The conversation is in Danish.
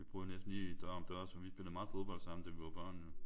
Vi boede næsten lige dør om dør så vi spillede meget fodbold sammen da vi var børn jo